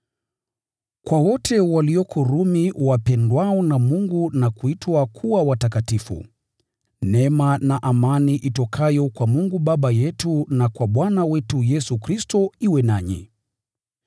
Kwa wote walioko Rumi wapendwao na Mungu na kuitwa kuwa watakatifu: Neema na amani itokayo kwa Mungu Baba yetu na kwa Bwana wetu Yesu Kristo iwe nanyi.